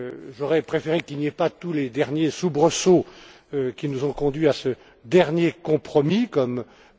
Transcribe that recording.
J'aurais préféré qu'il n'y ait pas tous les derniers soubresauts qui nous ont conduits à ce dernier compromis, comme